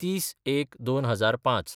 ३०/०१/२००५